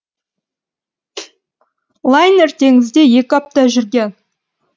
лайнер теңізде екі апта жүрген